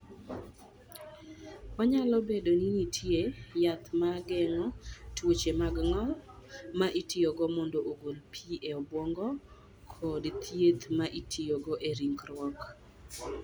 Onyalo bedo ni nitie yath ma geng'o tuoche mag ng'ol, ma itiyogo mondo ogol pi e obwongo, kod thieth ma itiyogo e ringruok.